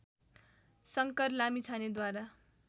Shankar लामिछानेद्वारा